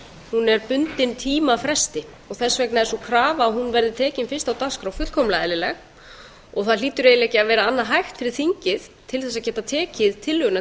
hún er bundin tímafresti og þess vegna er sú krafa að hún verði tekin fyrst á dagskrá fullkomlega eðlileg það hlýtur eiginlega ekki að vera annað hægt fyrir þingið til að geta tekið tillöguna